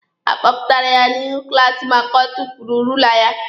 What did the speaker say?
A kpọpụtara ya n'ihu klaasi maka o tufuru ruula ya.